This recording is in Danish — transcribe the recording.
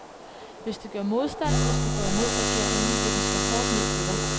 Hvis du gør modstand, hvis du går imod regeringen, vil den slå hårdt ned på dig.